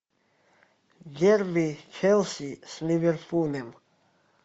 дерби челси с ливерпулем